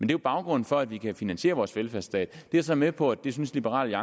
jo baggrunden for at vi kan finansiere vores velfærdsstat jeg er så med på at det synes liberal